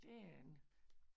Det er den